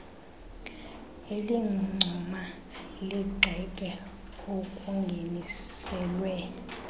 elincoma ligxeke okungeniselwe